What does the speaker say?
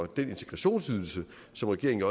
den integrationsydelse som regeringen